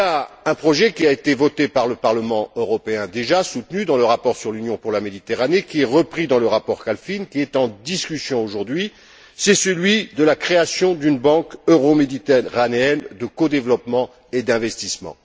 Il existe un projet déjà voté par le Parlement européen et soutenu dans le rapport sur l'Union pour la Méditerranée qui est repris dans le rapport Kalfin en discussion aujourd'hui, c'est celui de la création d'une banque euro méditerranéenne de codéveloppement et d'investissement.